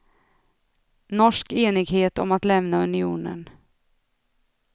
Norsk enighet om att lämna unionen.